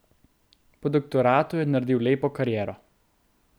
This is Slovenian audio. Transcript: Po doktoratu je naredil lepo kariero.